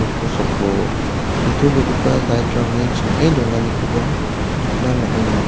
kosako nitobegipa light-rangni ching·e donganikoba nikna man·enga.